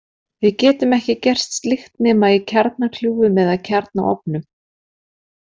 Við getum ekki gert slíkt nema í kjarnakljúfum eða í kjarnaofnum.